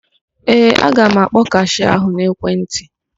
Ee, aga m akpọ kashịa ahụ n'ekwentị.